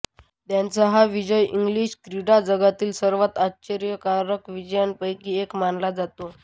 त्यांचा हा विजय इंग्लिश क्रीडाजगतातील सर्वात आश्चर्यकारक विजयांपैकी एक मानला जातो